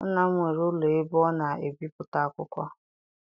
Nna m nwere ụlọ ebe ọ na ebipụta akwụkwọ.